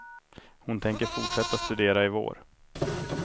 Hon tänker fortsätta studera i vår.